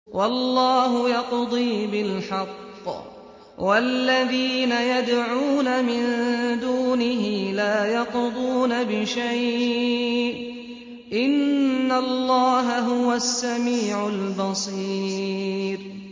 وَاللَّهُ يَقْضِي بِالْحَقِّ ۖ وَالَّذِينَ يَدْعُونَ مِن دُونِهِ لَا يَقْضُونَ بِشَيْءٍ ۗ إِنَّ اللَّهَ هُوَ السَّمِيعُ الْبَصِيرُ